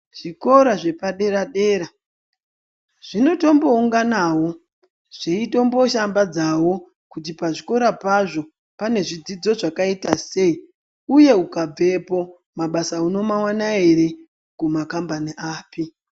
Zvikora zvepadera-dera zvinotombounganawo zveitomboshambadzawo kuti pazvikora pazvo pane zvidzidzo zvakaita sei, uye ukabvepo, mabasa unomaona ere uye pamakhambani api.